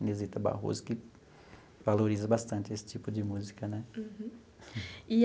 Inezita Barroso, que valoriza bastante esse tipo de música, né? Uhum.